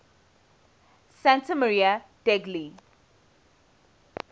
santa maria degli